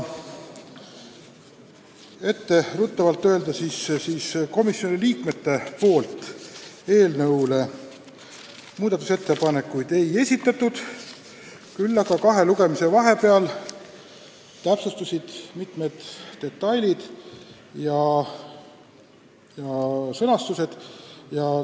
Ette ruttavalt ütlen, et komisjoni liikmed muudatusettepanekuid ei esitanud, küll aga sai kahe lugemise vahepeal täpsustatud mitmeid detaile ja sõnastust.